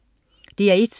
DR1: